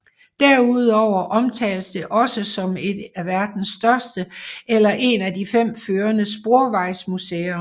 Derudover omtales det også som et af verdens største eller en af de fem førende sporvejsmuseer